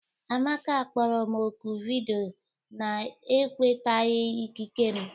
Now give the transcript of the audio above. Amaka kpọrọ m oku vidiyo na-enwetaghị ikike m